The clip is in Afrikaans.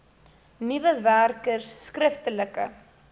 nuwe werkers skriftelike